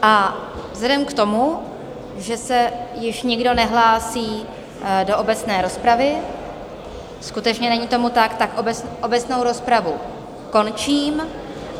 A vzhledem k tomu, že se již nikdo nehlásí do obecné rozpravy, skutečně není tomu tak, tak obecnou rozpravu končím.